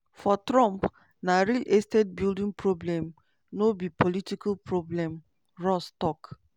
for trump "na real estate building problem no be political problem" ross tok.